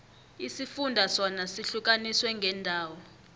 isifunda sona sihlukaniswe ngeendawo